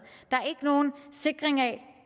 der er ikke nogen sikring af